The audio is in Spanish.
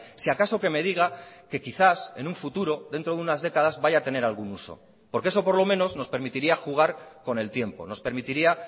si acaso que me diga que quizás en un futuro dentro de unas décadas vaya a tener algún uso porque eso por lo menos nos permitiría jugar con el tiempo nos permitiría